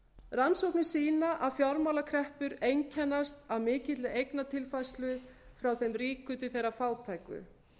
rannsóknir sýna að fjármálakreppur einkennast af mikilli eignatilfærslu frá þeim ríku til þeirra fátæku